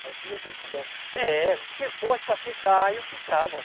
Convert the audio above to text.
Mas se você pudesse escolher. É, se fosse para ficar, eu ficava.